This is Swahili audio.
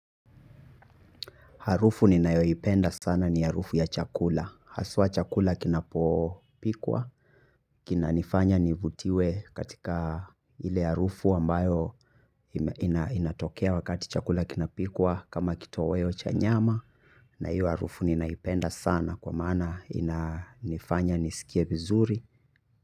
Harufu ninayoipenda sana ni harufu ya chakula. Haswa chakula kinapopikwa. Kina nifanya nivutiwe katika ile harufu ambayo inatokea wakati chakula kinapikwa kama kitoweo cha nyama. Na hiyo harufu ninaipenda sana kwa maana inafanya nisikie vizuri.